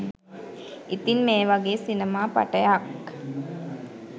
ඉතින් මේ වගේ සිනමා පටයක්